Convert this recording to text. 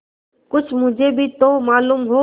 कुछ मुझे भी तो मालूम हो